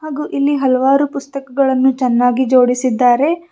ಇಲ್ಲಿ ಹಲವಾರು ಪುಸ್ತಕಗಳನ್ನು ಚೆನ್ನಾಗಿ ಜೋಡಿಸಿದ್ದಾರೆ.